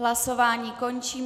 Hlasování končím.